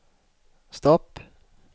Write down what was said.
stopp